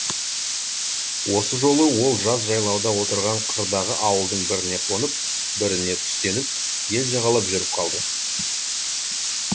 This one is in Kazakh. осы жолы ол жаз жайлауда отырған қырдағы ауылдың біріне қонып біріне түстеніп ел жағалап жүріп қалды